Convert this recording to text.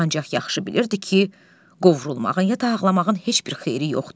Ancaq yaxşı bilirdi ki, qovrulmağın, ya da ağlamağın heç bir xeyri yoxdur.